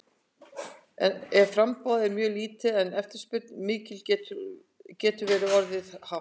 Ef framboð er mjög lítið en eftirspurn mikil getur verðið orðið hátt.